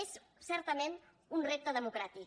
és certament un repte democràtic